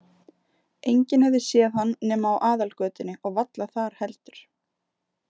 Enginn hefði séð hann nema á aðalgötunni og varla þar heldur.